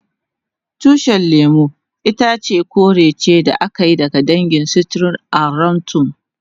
Tushin lemun itace kore ce da aka yi daga dangin citrus aurantum.